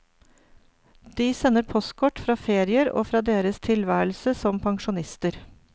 De sender postkort fra ferier, og fra deres tilværelse som pensjonister.